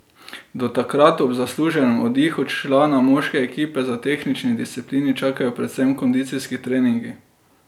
Do takrat ob zasluženem oddihu člana moške ekipe za tehnični disciplini čakajo predvsem kondicijski treningi.